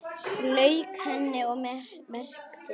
Lauk henni og merkti.